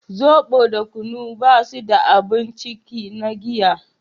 zobo da kunu ba su da abun ciki na giya